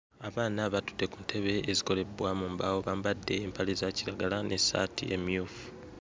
Abaana batudde ku ntebe ezikolebbwa mu mbaawo bambadde empale za kiragala n'essaati emmyufu.